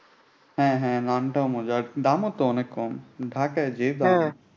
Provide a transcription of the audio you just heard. হ্যাঁ হ্যাঁ নানটাও মজার দামও তো অনেক কম ঢাকায় যে দাম।